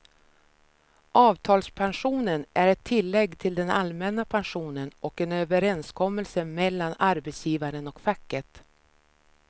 Avtalspensionen är ett tillägg till den allmänna pensionen och en överenskommelse mellan arbetsgivaren och facket.